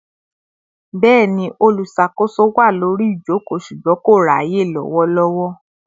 Bẹni, olùṣàkóso wá lórí ijoko ṣùgbọ́n kò ráyè lowolowo